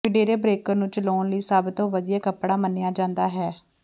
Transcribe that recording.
ਵਿੰਡੈਰੇਬਰੇਕਰ ਨੂੰ ਚਲਾਉਣ ਲਈ ਸਭ ਤੋਂ ਵਧੀਆ ਕਪੜੇ ਮੰਨਿਆ ਜਾਂਦਾ ਹੈ